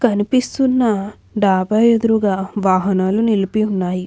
కనిపిస్తున్న డాబా ఎదురుగా వాహనాలు నిలిపి ఉన్నాయి.